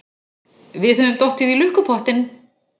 Við höfum dottið í lukkupottinn!